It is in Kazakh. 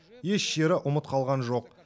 еш жері ұмыт қалған жоқ